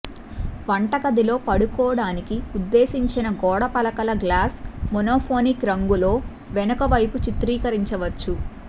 వంటగదిలో పట్టుకోడానికి ఉద్దేశించిన గోడ పలకల గ్లాస్ మోనోఫోనిక్ రంగులో వెనుక వైపు చిత్రీకరించవచ్చు